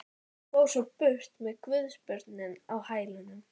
Og fór svo burt með guðsbörnin á hælunum.